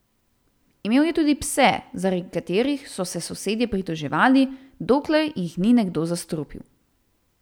Imel je tudi pse, zaradi katerih so se sosedje pritoževali, dokler jih ni nekdo zastrupil.